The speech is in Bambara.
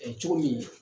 Ɛɛ cogo min